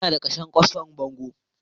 Ina da kashe kwasfan bango